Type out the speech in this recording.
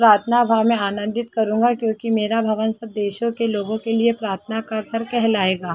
प्राथना भाव में आनंदित करूँगा क्युकी मेरा भवन सब देशो के लोगो के लिए प्राथना कर करके कह लायेगा।